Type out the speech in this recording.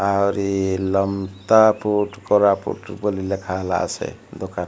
ଆଉରି ଲମତା ପୁଟ କୋରାପୁଟ ବୋଲି ଲେଖାହେଲା ସେ ଦୋକାନ --